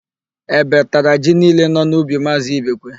Ébé tara ji niile nọ n'ubi Maazị Ibekwe.